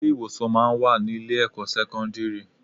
Ilé ìwòsàn máa ń wà ní ilé ẹ̀kọ́ sẹ́kọ́ńdírì.